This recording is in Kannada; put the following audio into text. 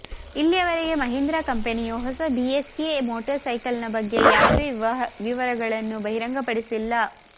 ಇಲ್ಲಿಯವರೆಗೆ ಮಹೀಂದ್ರಾ ಕಂಪನಿಯು ಹೊಸ ಬಿಎಸ್ಎ ಮೋಟಾರ್ ಸೈಕಲ್ ಬಗ್ಗೆ ಯಾವುದೇ ವಿವರಗಳನ್ನು ಬಹಿರಂಗಪಡಿಸಿಲ್ಲ